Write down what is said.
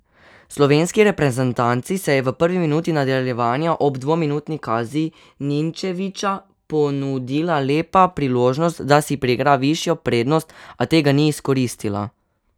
Slovenski reprezentanci se je v prvi minuti nadaljevanja ob dvominutni kazni Ninčevića ponudila lepa priložnost, da si priigra višjo prednost, a tega ni izkoristila.